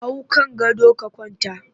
Hau kan gado ka kwanta!